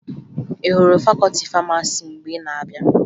Ị hụrụ fakọọti famasi mgbe ị na-abịa?